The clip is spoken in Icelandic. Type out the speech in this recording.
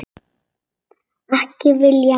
Ekki viljað meira.